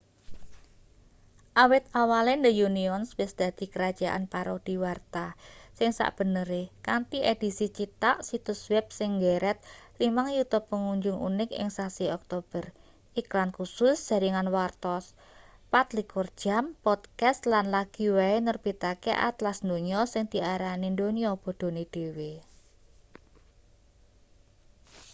awit awale the onion wis dadi kerajaan parodi warta sing sakbenere kanthi edisi cithak situs web sing nggeret 5.000.000 pengunjung unik ing sasi oktober iklan kusus jaringan warta 24 jam podcast lan lagi wae nerbitake atlas donya sing diarani donya bodhone dhewe